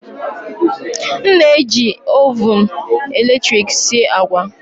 M na-eji Ovụn eletrik sie agwa